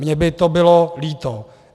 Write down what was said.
Mně by to bylo líto.